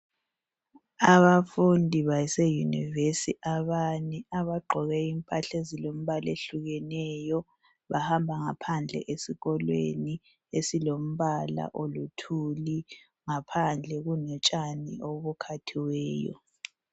Abafundi base univesi abane abagqoke impahla ezilembala ehlukeneyo bahamba ngaphandle esikolweni esilombala oluthuli ngaphandle kulotshani obukhathiweyo